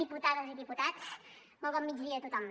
diputades i diputats molt bon migdia a tothom